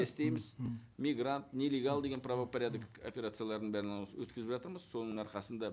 істейміз мигрант нелегал деген правопорядок операцияларын бәрін өткізіп жатырмыз соның арқасында